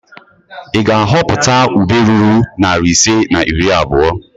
Ị ga-ahọpụta ube ruru narị ise na iri abụo?